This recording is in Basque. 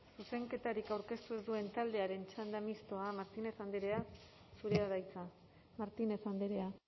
zuzenketarik aurkeztu ez duen taldearen txanda mistoa martínez andrea zurea da hitza martínez andrea